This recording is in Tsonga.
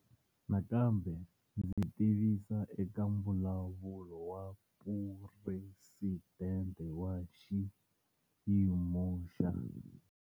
Nakambe ndzi tivise eka Mbulavulo wa Phuresidente wa Xiyimo xa.